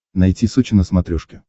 найти сочи на смотрешке